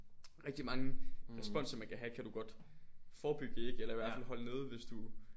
Rigtig mange responser man kan have kan du godt forebygge ikke eller i hvert fald holde nede hvis du